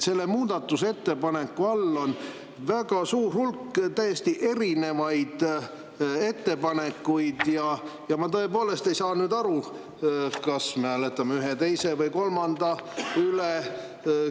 Selle muudatusettepaneku all on väga suur hulk täiesti erinevaid ettepanekuid ja ma tõepoolest ei saa aru, kas me hääletame ühe, teise või kolmanda üle.